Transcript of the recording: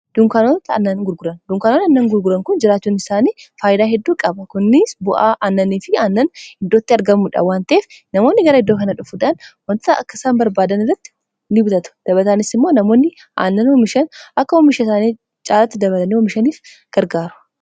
Dunkaanoonni annan gurguran kun jiraachuun isaanii faayidaa heedduu qaba. Kunis bu'aa aannanii fi aannan iddootti argamudha waan ta'eef namoonni gara iddoo kana dhufuudhaan wanta akkasaan barbaadan irratti ni bitatu. Dabataanis immoo namoonni aannan oomishan akka oomisha isaanii caalatti dabalatani oomishaniif gargaara.